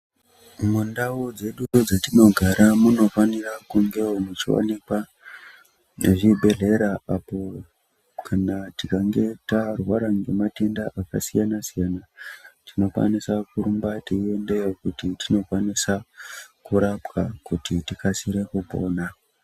Mundawo dzedu dzatinogara munofanira kunge muchiwanika nezvibhedhlera, apo kana tikange tarwara ngematenda akasiyana siyana tinokwanisa kurumba tiyendeko kuti tinokwanisa kurapwa kuti tikasire kupona.